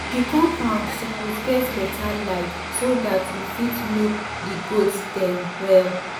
the compound suppose get better light so dat you fit look di goat dem well.